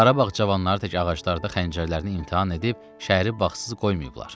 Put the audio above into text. Qarabağ cavanları tək ağaclarda xəncərlərini imtahan edib şəhəri bağsız qoymayıblar.